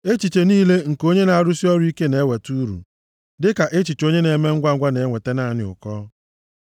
Echiche niile nke onye na-arụsị ọrụ ike na-eweta uru, dịka echiche onye ome ngwangwa na-enweta naanị ụkọ.